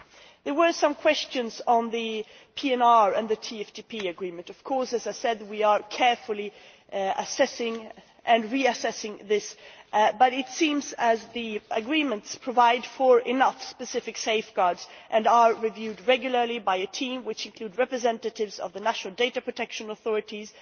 There were some questions on the PNR and the TFTP agreement. Of course we are carefully assessing and reassessing this, but it seems that the agreements provide for enough specific safeguards and are reviewed regularly by a team which includes representatives of the national data protection authorities.